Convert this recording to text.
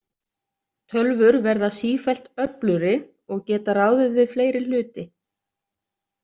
Tölvur verða sífellt öflugri og geta ráðið við fleiri hluti.